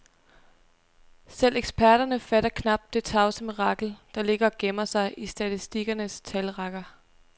Selv eksperterne fatter knap det tavse mirakel, der ligger og gemmer sig i statistikernes talrækker.